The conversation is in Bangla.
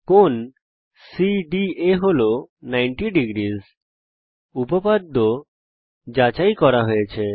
কোণ সিডিএ হল 900 উপপাদ্য যাচাই করা হয়েছে